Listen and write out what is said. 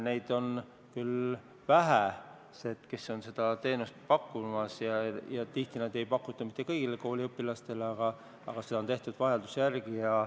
Neid on küll vähe, kes seda teenust pakuvad, ja tihti ei pakuta seda kõigile kooliõpilastele, seda on tehtud vajaduse järgi.